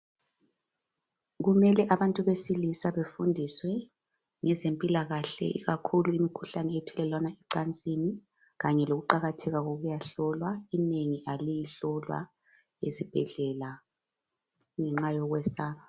Kumele abantu besilisa befundiswe ngezempilakahle ikakhulu imikhuhlane ethelelwana ecansini kanye lokuqakatheka kokuyahlolwa inengi aliyihlolwa ezibhedlela ngenxa yokwesaba.